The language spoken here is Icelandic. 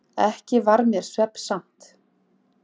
Varð mér ekki svefnsamt.